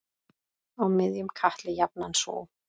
Á miðjum katli jafnan sú.